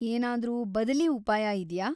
ಏನಾದ್ರೂ ಬದಲೀ ಉಪಾಯ ಇದ್ಯಾ?